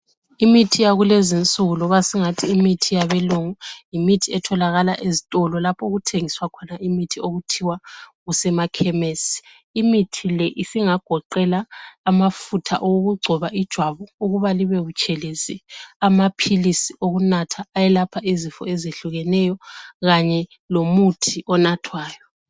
Imithi yakulezinsuku loba singathi imithi yabelungu yimithi etholakala ezitolo lapho okuthengiswa khona imithi okuthiwa kusemakhemesi. Imithi le isingagoqela amafutha okugcoba ijwabu ukuba libe butshelezi, amaphilisi okunatha ayelapha izifo ezehlukeneyo kanye lomuthi onathwayo.